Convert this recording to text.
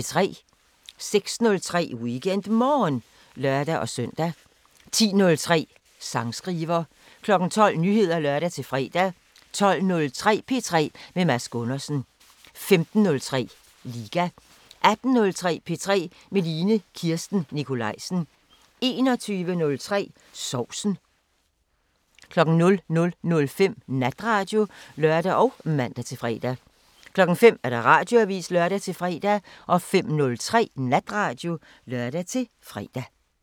06:03: WeekendMorgen (lør-søn) 10:03: Sangskriver 12:00: Nyheder (lør-fre) 12:03: P3 med Mads Gundersen 15:03: Liga 18:03: P3 med Line Kirsten Nikolajsen 21:03: Sovsen 00:05: Natradio (lør og man-fre) 05:00: Radioavisen (lør-fre) 05:03: Natradio (lør-fre)